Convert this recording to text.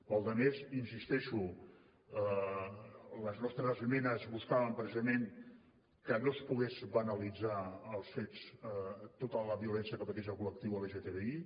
per la resta hi insisteixo les nostres esmenes buscaven precisament que no es pogués banalitzar els fets tota la violència que pateix el col·lectiu lgtbi